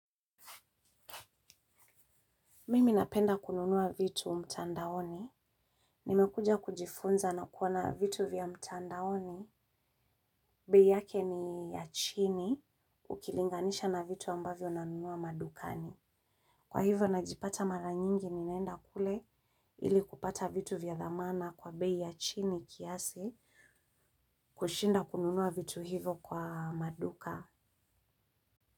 Mimi napenda kununua vitu mtandaoni. Nimekuja kujifunza na kuona vitu vya mtandaoni. Bei yake ni ya chini ukilinganisha na vitu ambavyo na nunua madukani. Kwa hivo najipata mara nyingi ninaenda kule ili kupata vitu vya dhamana kwa bei ya chini kiasi kushinda kununua vitu hivo kwa maduka.